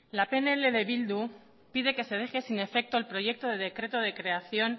la pnl de bildu pide que se deje sin efecto el proyecto de decreto de creación